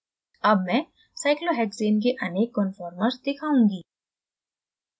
अब मैं cyclohexane के अनेक conformers दिखाऊँगी